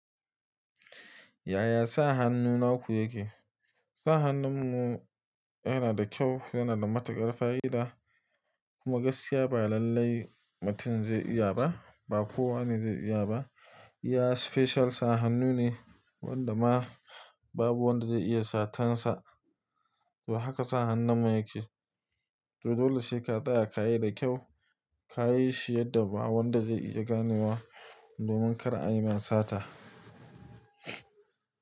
Yaya sa hannu naku yake? Sa hannunmu yana da kyau, yana da matuƙar fa'ida kuma gaskiya ba lallai mutum zai iya ba, ba kowane zai iya ba. Iya special sa hannu ne wanda ma babu wanda zai iya satansa. To haka sa hannunmu yake. To dole sai ka tsaya ka yi da kyau, ka yi shi yadda ba wanda zai iya ganewa domin kar a yi ma sata.